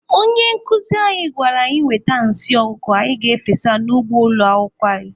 Onye nkuzi anyị gwara anyị wete nsị ọkụkọ anyị ga-efesa n'ugbo ụlọ akwụkwọ anyị.